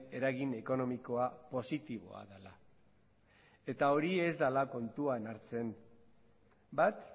eragin ekonomikoa positiboa dela eta hori ez dela kontutan hartzen bat